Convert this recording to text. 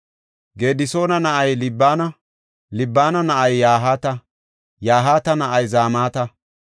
Gedisoona na7ay Libina; Libina na7ay Yahaata; Yahaata na7ay Zamata.